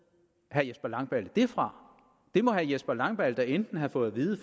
herre jesper langballe det fra det må herre jesper langballe da enten have fået at vide